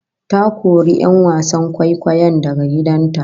Ta kori 'yan wasan kwaikwayon daga gidan ta